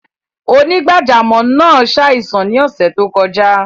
Onígbàjàmọ́ naa ṣáìsàn ni ọṣẹ́ tó kọja.